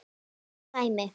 Geggjað dæmi.